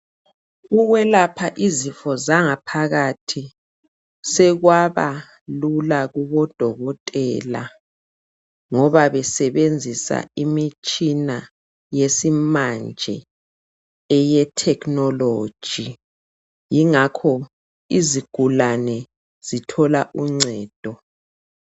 Ukwelapha izifo zangaphakathi sekwaba lula kubodokotela ngoba besebenzisa imitshina yesimanje eyethekhinoloji yingakho izigulane zithola uncedo.